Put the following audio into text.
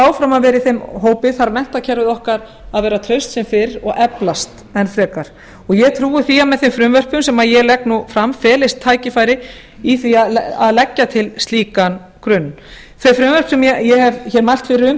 áfram að vera í þeim hópi þarf menntakerfið okkar að vera traust sem fyrr og eflast enn frekar og ég trúi því að með þeim frumvörpum sem ég legg fram felist tækifæri í því að leggja til slíkan grunn þau frumvörp sem ég hef mælt fyrir um